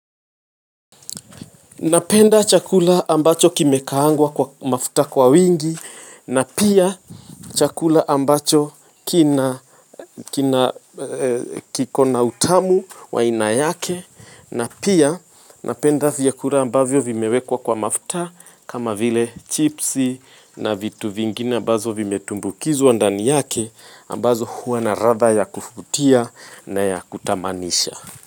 Napenda chakula ambacho kimekahangwa kwa mafuta kwa wingi, napia chakula ambacho kikona utamu wa aina yake, napia napenda vya kula ambavyo vimewekwa kwa mafuta kama vile chipsi na vitu vingine ambazo vime tumbukizwa ndani yake, ambazo huwa na radha ya kufutia na ya kutamanisha.